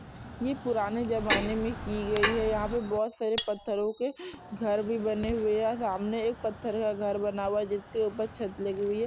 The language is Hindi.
ये पुराने जमाने मे की गई है यहाँ पे बोहोत सारे पत्थरो के घर भी बने हुए है सामने एक पत्थरों का घर बना हुआ है जिसके ऊपर छत लगी हुई है।